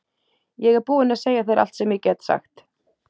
Ég er búin að segja þér allt sem ég get sagt.